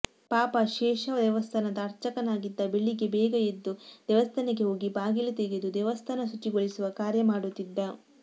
ಪಾಪ ಶೇಷ ದೇವಸ್ಥಾನದ ಅರ್ಚಕನಾಗಿದ್ದ ಬೆಳಿಗ್ಗೆ ಬೇಗ ಎದ್ದು ದೇವಸ್ಥಾನಕ್ಕೆ ಹೋಗಿ ಬಾಗಿಲು ತೆಗೆದು ದೇವಸ್ಥಾನ ಶುಚಿಗೊಳಿಸುವ ಕಾರ್ಯ ಮಾಡುತ್ತಿದ್ದ